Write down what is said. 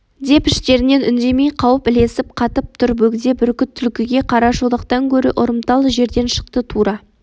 деп іштерінен үндемей қауіп ілесіп қатып тұр бөгде бүркіт түлкіге қарашолақтан гөрі ұрымтал жерден шықты тура